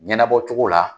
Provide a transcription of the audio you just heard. Ɲɛnabɔcogo la